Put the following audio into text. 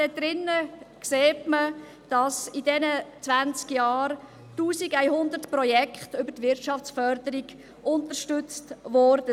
Dort drin sieht man, dass in diesen zwanzig Jahren 1100 Projekte über die Wirtschaftsförderung unterstützt wurden.